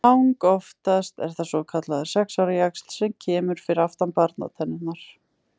Langoftast er það svokallaður sex ára jaxl sem kemur fyrir aftan barnatennurnar.